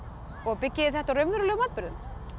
byggið þið þetta á raunverulegum atburðum